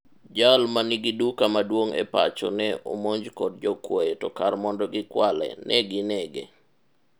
jal manigi duka maduong' e pacho ne omonj kod jokwoye to kar mondo gikwale, negi nege